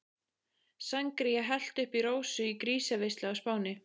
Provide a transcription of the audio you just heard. Sangría hellt upp í Rósu í grísaveislu á Spáni.